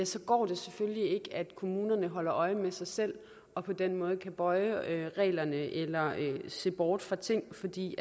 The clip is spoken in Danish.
så går det selvfølgelig ikke at kommunerne holder øje med sig selv og på den måde kan bøje reglerne eller se bort fra ting fordi